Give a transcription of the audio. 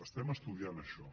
estem estudiant això